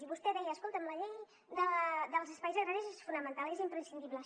i vostè deia escolta’m la llei dels espais agraris és fonamental és imprescindible